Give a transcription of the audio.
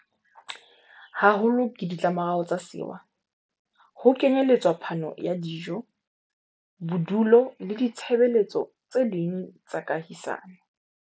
haholo ke ditlamorao tsa sewa, ho kenyeletswa phano ya dijo, bodulo le ditshebe letso tse ding tsa kahisano.